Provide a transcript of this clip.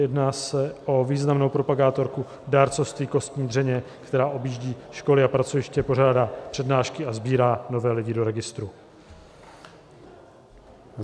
Jedná se o významnou propagátorku dárcovství kostní dřeně, která objíždí školy a pracoviště, pořádá přednášky a sbírá nové lidi do registru.